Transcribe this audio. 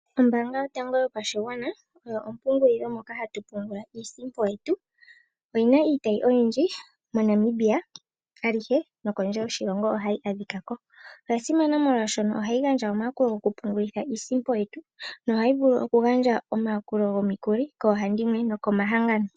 Ombaanga yotango yopashigwana oyo ompungulilo moka hatu pungula iisimpo yetu. Oyi na iitayi oyindji moNamibia alihe nokondje yoshilongo ohayi adhika ko. Oya simana molwaashono ohayi gandja omayakulo gokupungulitha iisimpo yetu nohayi vulu okugandja omayakulo gomikuli koohandimwe nokomahangano.